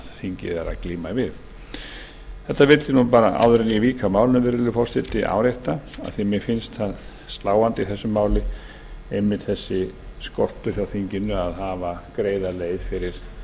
þingið er að glíma við þetta vildi ég árétta virðulegi forseti áður en ég vík að málinu af því að mér finnst það sláandi í þessu máli einmitt þessi skortur hjá þinginu að hafa greiða leið fyrir